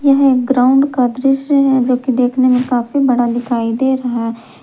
यह एक ग्राउंड का दृश्य है जो की देखने में काफी बड़ा दिखाई दे रहा है।